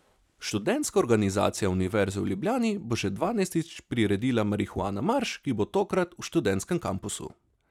Študentska organizacija Univerze v Ljubljani bo že dvanajstič priredila Marihuana marš, ki bo tokrat v Študentskem kampusu.